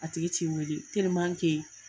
A tigi t'i weele